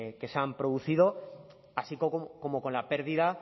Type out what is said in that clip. que se han producido así como con la pérdida